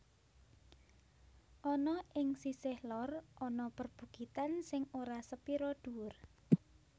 Ana ing sisih lor ana perbukitan sing ora sepira dhuwur